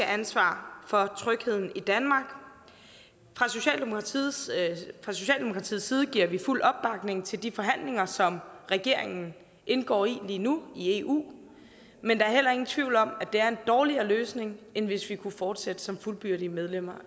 ansvar for trygheden i danmark fra socialdemokratiets side giver vi fuld opbakning til de forhandlinger som regeringen indgår i lige nu i eu men der er heller ingen tvivl om det er en dårligere løsning vi end hvis vi kunne fortsætte som fuldgyldigt medlem